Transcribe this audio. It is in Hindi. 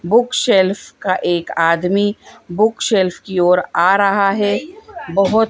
बुक शेल्फ का एक आदमी बुक शेल्फ की ओर आ रहा है बहोत--